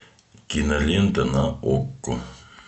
кинолента на окко